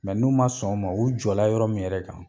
n'u man sɔn o ma u jɔ la yɔrɔ min yɛrɛ kan.